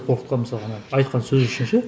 қорқытқан мысалы ананы айтқан сөзі үшін ше